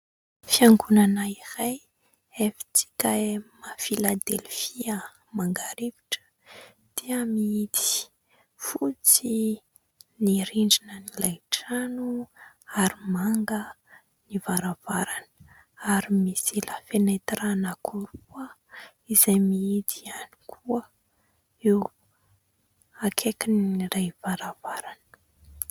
Fiangonana iray, FJKM Filadelfia Mangarivotra dia mihidy. Fotsy ny rindrinan'ilay trano ary manga ny varavarany ary misy "la fenêtre" anankiroa izay mihidy ihany koa eo akaikin'ilay varavarana.